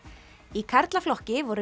í karlaflokki voru